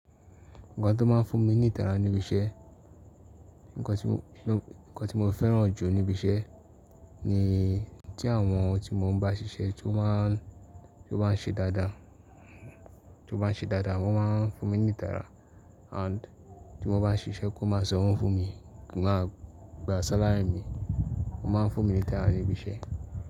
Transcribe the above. Nǹkan tó máa ń fún mi ní ìtara níbi iṣẹ́, nkan ti mo feran ju nibi ise ni ti awon ti mo n ba sise, to ba se daada, tan ba se daadaa, o maa n funmi ni itara and tio ba sise kon maa sanwo funmi. Á gba salary mi, ó máa ń fún mi ní ìtara níbi iṣẹ́.